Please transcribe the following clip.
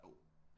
Jo